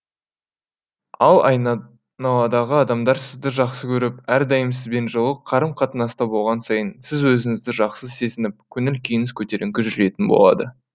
ал айналадағы адамдар сізді жақсы көріп әрдайым сізбен жылы қарым қатынаста болған сайын сіз өзіңізді жақсы сезініп көңіл күйіңіз көтеріңкі жүретін болады